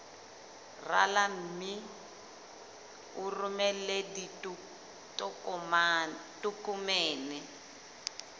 rala mme o romele ditokomene